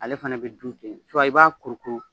Ale fana bɛ dun tɛ, i b'a kuru kuru